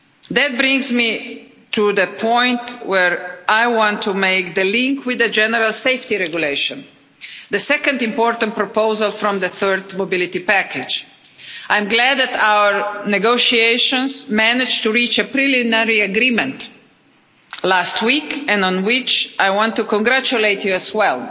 That brings me to the point where I want to make a link with the General Safety Regulation, the second important proposal from the Third Mobility Package. I am glad that our negotiations managed to reach a preliminary agreement last week, on which I want to congratulate you as well